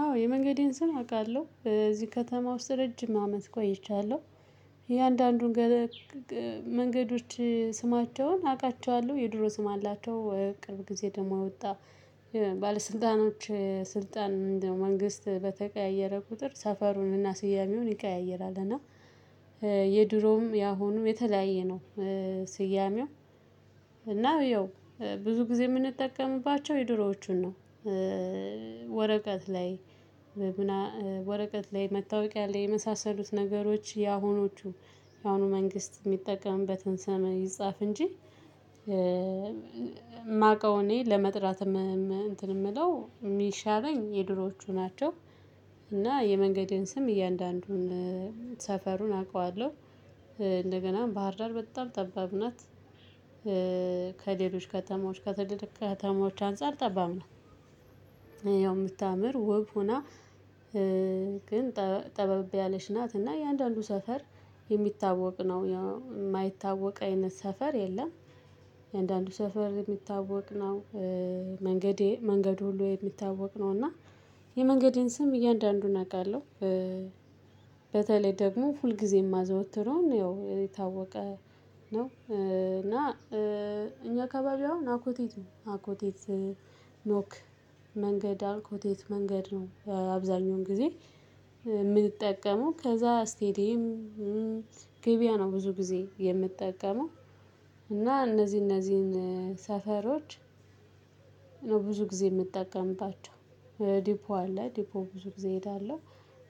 አዎ የመንገዴን ስም አውቃለሁ እዚህ ከተማ ውስጥ ረጅም አመት ቆይቻለሁ። እያንዳንዱን መንገዶች ስማቸውን አቃቸዋለሁ የድሮ ስም አላቸው ቅርብ ጊዜ ደግሞ የወጣ ባለስልጣኖች ስልጣን መንግስት በተቀያየረ ቁጥር ሰፈሩንና ስያሜውን ይቀያይራል። እና የድሮዉም ያሁኑም የተለያየ ነው። ስያሜው ያው ብዙ ጊዜ የምንጠቀምባቸው የድሮዎቹን ነው። ወረቀት ላይ ወረቀት ላይ መታወቂያ ላይ የመሳሰሉት ነገሮች ያሁኖቹ ያሁኑ መንግስት የሚጠቀምበትን ስም ይጻፍ እንጂ የማውቀው እኔ ለመጥራት እንትን የምለው የሚሻለኝ የድሮቹ ናቸው። እና የመንገዴን ስም እያንዳንዱን ሰፈሩን አውቀዋለሁ። እንደገና ባህርዳር በጣም ጠባብ ናት። ከተማዎች ከትልልቅ ከተማዎች አንፃር ጠባም ነው። ያው የምታምር ውብ ሆና ግን ጠበብ ያለች ናት። እና እያንዳንዱ ሰፈር የሚታወቅ ነው የማይታወቅ አይነት ሰፈር የለም። አንዳንዱ ሰፈር የሚታወቅ ነው። መንገዴ መንገዱ ሁሉ የሚታወቅ ነው እና የመንገዴን ስም እያንዳንዱን አውቃለሁ። በተለይ ደግሞ ሁልጊዜም አዘወትረን ያው የታወቀ ነው። እና እኛ አካባቢ አሁን አኮቴት ነው አኮቴት ኖክ መንገድ አልኮቴት መንገድ ነው። አብዛኛውን ጊዜ የምትጠቀመው ከዛ ስቴዲየም ገቢያ ነው ብዙ ጊዜ የምጠቀመው። እና እነዚህ እነዚህን ሰፈሮች ነው ብዙ ጊዜ የምጠቀምባቸው። ዲፖ አለ ዲፖ ብዙ ጊዜ እሄዳለሁ